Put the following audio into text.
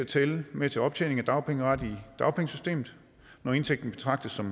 tælle med til optjening af dagpengeret i dagpengesystemet når indtægten betragtes som